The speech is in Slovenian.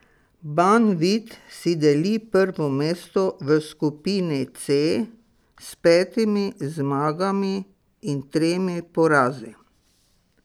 Banvit si deli prvo mesto v skupini C s petimi zmagami in tremi porazi.